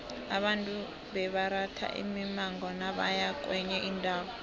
abantu bebaratha imimango nabaya kwenye indawo